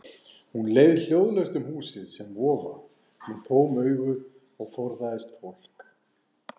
Hún leið hljóðlaust um húsið sem vofa, með tóm augu og forðaðist fólk.